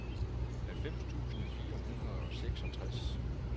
halvfems tusind fire hundrede og seksogtres